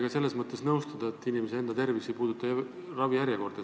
Ma ei saa teiega nõustuda selles, et inimese enda tervis ei puuduta ravijärjekordi.